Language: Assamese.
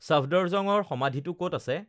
চাফদৰজঙৰ সমাধিটো ক'ত আছে